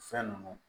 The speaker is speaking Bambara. Fɛn ninnu